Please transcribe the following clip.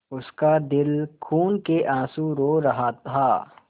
उसका दिल खून केआँसू रो रहा था